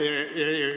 Aitäh!